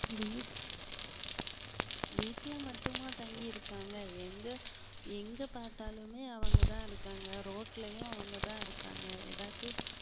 வீட்~ வீட்டுல மட்டுமா தங்கி இருக்காங்க எங்க எங்க பார்த்தாலுமே அவங்கதான் இருக்காங்க ரோட்லையும் அவங்கதான் இருக்காங்க எதாச்சும்